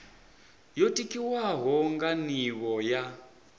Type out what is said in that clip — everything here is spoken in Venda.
yo tikwaho nga nivho ya